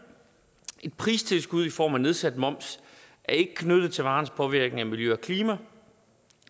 et pristilskud i form af nedsat moms er ikke knyttet til varens påvirkning af miljø og klima